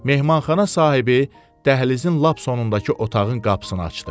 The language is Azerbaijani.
Mehmanxana sahibi dəhlizin lap sonundakı otağın qapısını açdı.